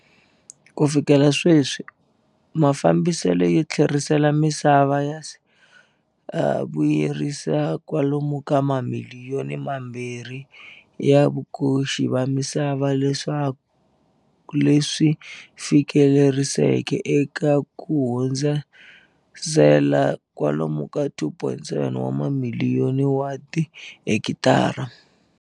Ku fikela sweswi, mafa mbiselo yo tlherisela misava ya se ya vuyerise kwalomu ka mamiliyoni mambirhi ya vakoxi va misava leswi fikeleriseke eka ku hundzi sela kwalomu ka 2.7 wa ma miliyoni wa tihekitara.